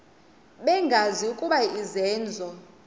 bengazi ukuba izenzo